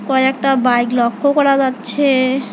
কয়েকটা বাইক লক্ষ্য করা যাচ্ছে।